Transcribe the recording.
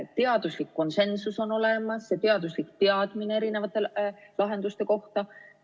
Teaduslik konsensus on olemas, teaduslik teadmine erinevate lahenduste kohta.